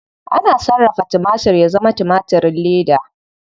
Ana sarrafa timatir ya zama timatirin leda.